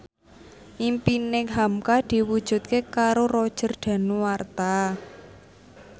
impine hamka diwujudke karo Roger Danuarta